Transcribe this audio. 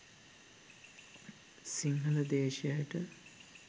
Sinhala දේශයට